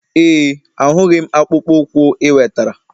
Ee, ahụghị m akpụkpọ ụkwụ ị wetara.